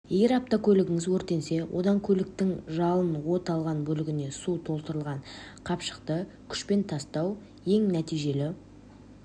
егер автокөлігіңіз өртенсе онда көліктің жалын от алған бөлігіне су толтырылған қапшықты күшпен тастау ең нәтижелі